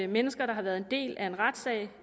mennesker der har været en del af en retssag